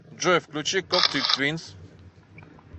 джой включи коктей твинс